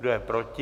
Kdo je proti?